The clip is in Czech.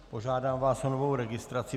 Požádám vás o novou registraci.